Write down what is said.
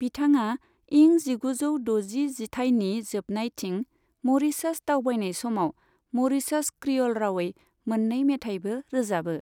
बिथाङा इं जिगुजौ द'जि जिथाइनि जोबनायथिं म'रीशास दावबायनाय समाव म'रीशास क्रिअ'ल रावै मोननै मेथाइबो रोजाबो।